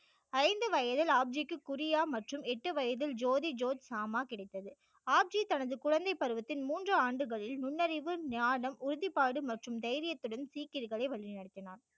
ஐந்து வயதில் ஆப் ஜிக்கு குறியா மற்றும் எட்டு வயதில் ஜோதி ஜோஷ் ஷாமா கிடைத்தது ஆப் ஜி தனது குழந்தை பருவத்தில் மூன்று ஆண்டுகள் நுண்அறிவு ஞானம் உறுதிபாடு மற்றும் தைரியத்துடன் சீக்கியர்களை வழிநடத்தினார்